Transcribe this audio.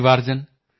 अभी तो सूरज उगा है